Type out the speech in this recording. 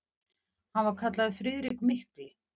Hann var kallaður Friðrik mikli.